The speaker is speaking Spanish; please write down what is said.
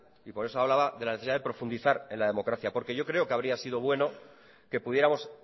y por eso hablaba de la necesidad de profundizar en la democracia porque yo creo que habría sido bueno que pudiéramos